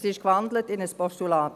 – Es ist gewandelt in ein Postulat.